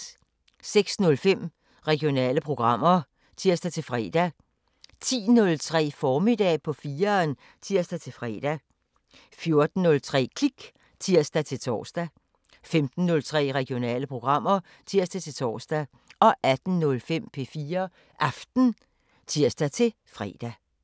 06:05: Regionale programmer (tir-fre) 10:03: Formiddag på 4'eren (tir-fre) 14:03: Klik (tir-tor) 15:03: Regionale programmer (tir-tor) 18:05: P4 Aften (tir-fre)